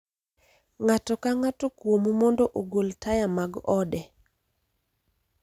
Ng'ato ka ng'ato kuomu mondo ogol taya mag ode.